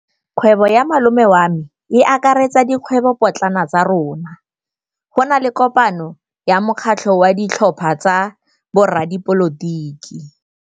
Kgwêbô ya malome wa me e akaretsa dikgwêbôpotlana tsa rona. Go na le kopanô ya mokgatlhô wa ditlhopha tsa boradipolotiki.